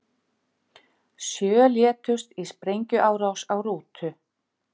Sjö létust í sprengjuárás á rútu